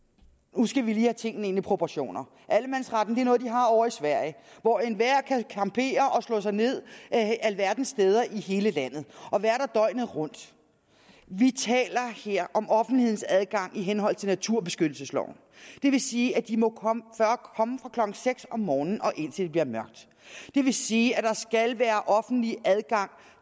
nu skal vi lige have tingene ind i proportioner allemandsretten er noget de har ovre i sverige hvor enhver kan campere og slå sig ned alverdens steder i hele landet og være der døgnet rundt vi taler her om offentlighedens adgang i henhold til naturbeskyttelsesloven det vil sige at de må komme fra klokken seks om morgenen og indtil det bliver mørkt det vil sige at der skal være offentlig adgang